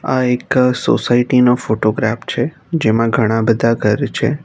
આ એક સોસાયટી નો ફોટોગ્રાફ છે જેમાં ઘણા બધા ઘર છે.